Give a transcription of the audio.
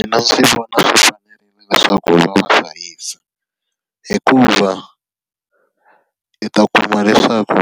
Mina ndzi vona swi fanerile leswaku va va hlayisa. Hikuva, i ta kuma leswaku